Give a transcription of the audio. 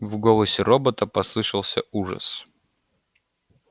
в голосе робота послышался ужас